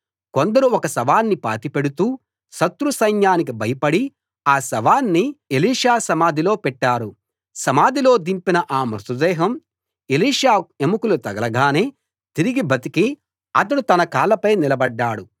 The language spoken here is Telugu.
కొందరు ఒక శవాన్ని పాతిపెడుతూ శత్రు సైన్యానికి భయపడి ఆ శవాన్ని ఎలీషా సమాధిలో పెట్టారు సమాధిలో దింపిన ఆ మృతదేహం ఎలీషా ఎముకలు తగలగానే తిరిగి బతికి అతడు తన కాళ్ళపై నిలబడ్డాడు